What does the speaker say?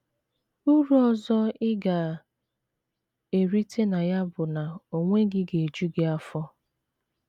Uru ọzọ ị ga - erite na ya bụ na onwe gị ga - eju gị afọ.